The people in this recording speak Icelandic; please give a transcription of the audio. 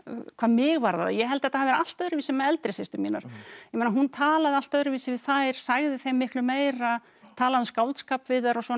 hvað mig varðar ég held þetta hafi verið allt öðruvísi með eldri systur mínar hún talaði allt öðruvísi við þær sagði þeim miklu meira talaði um skáldskap við þær og svona